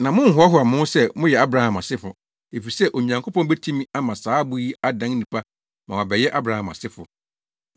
Na monnhoahoa mo ho sɛ moyɛ Abraham asefo, efisɛ Onyankopɔn betumi ama saa abo yi adan nnipa ma wɔabɛyɛ Abraham asefo.